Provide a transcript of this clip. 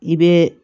I bɛ